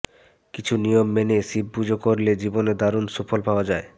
কিছু নিয়ম মেনে শিব পুজো করলে জীবনে দারুণ সুফল পাওয়া যায়